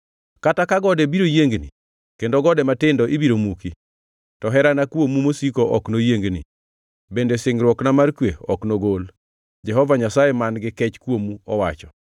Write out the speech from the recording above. Kata ka gode biro yiengni, kendo gode matindo ibiro muki, to herana kuomu mosiko ok noyiengi, bende singruokna mar kwe ok nogol,” Jehova Nyasaye man-gi kech kuomu owacho.